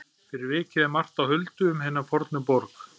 Fyrir vikið er margt á huldu um hina fornu borg.